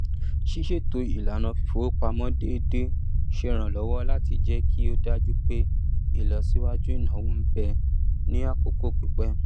ṣíṣètò ìlànà fífọwó pamọ déédé ṣe ràn lówọ láti jẹ kó dájú pé ìlọsíwájú ináwó ń bẹ ní àkókò pípẹ